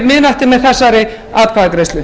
miðnætti með þessari atkvæðagreiðslu